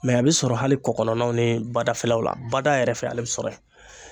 Mɛ a bi sɔrɔ hali kɔ kɔnɔnaw ni badafɛlaw la bada yɛrɛ fɛ ale be sɔrɔ yen